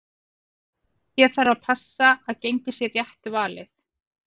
Hér þarf að passa að gengið sé rétt valið.